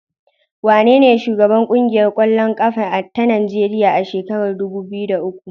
Wanene shugaban ƙungiyar ƙwallon ƙafa ta Najeriya a shekarar dubu biyu da uku?